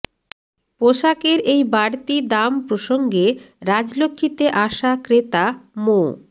পোশাকের এই বাড়তি দাম প্রসঙ্গে রাজলক্ষীতে আসা ক্রেতা মো